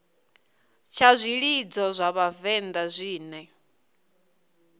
tsha zwilidzo zwa vhavenḓa zwine